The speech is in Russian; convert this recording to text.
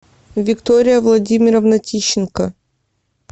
виктория владимировна тищенко